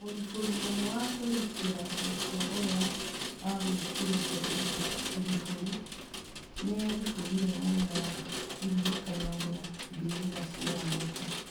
Mũrĩfũri ũmwe wa kwĩrutĩra gukua ũrĩa agwĩkĩrĩte iribũri, nĩ eribũrire mwena wa iririkano rĩa mbĩrĩra cia langata